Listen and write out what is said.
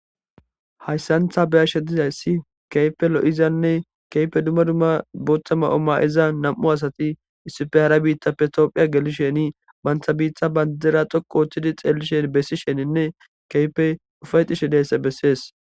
hayssantha beyashe dizayssi keype lo7izianne keype dumma dumma boottama oma7iza nam7u asati issife hara biitta pe toophiya gelisheni bantha biitha bandera xoqu ooththidi xeelishen bessi sheninne keypey ufayxishe deesse bessees